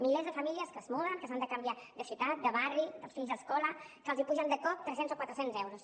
milers de famílies que es muden que s’han de canviar de ciutat de barri els fills d’escola que els apugen de cop tres cents o quatre cents euros